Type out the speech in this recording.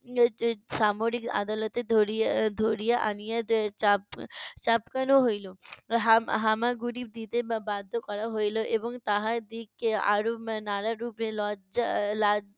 সামরিক আদালতে ধরিয়া এর ধরিয়া আনিয়া যে চাপ চাবকানো হইলো। হামা~ হামাগুঁড়ি দিতে বাধ্য করা হইলো এবং তাহার দিকে আরও এর নানারূপে লজ্জা এর লা~